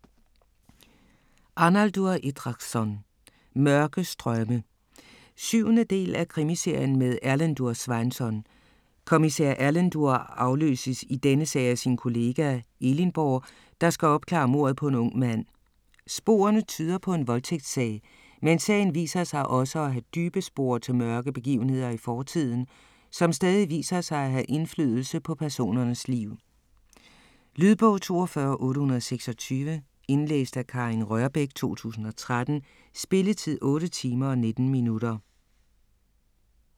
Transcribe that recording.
Arnaldur Indriðason: Mørke strømme 7. del af Krimiserien med Erlendur Sveinsson. Kommissær Erlendur afløses i denne sag af sin kollega, Elinborg, der skal opklare mordet på en ung mand. Sporene tyder på en voldtægtssag, men sagen viser sig også at have dybe spor til mørke begivenheder i fortiden, som stadig viser sig at have indflydelse på personernes liv. Lydbog 42826 Indlæst af Karin Rørbech, 2013. Spilletid: 8 timer, 19 minutter.